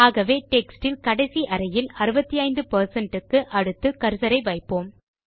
ஆகவே டெக்ஸ்ட் யில் கடைசி அறையில் 65 க்கு அடுத்து கர்சரை வைப்போம்